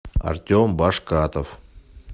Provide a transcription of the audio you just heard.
артем башкатов